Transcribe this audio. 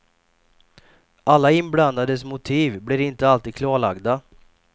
Alla inblandades motiv blir inte alltid klarlagda.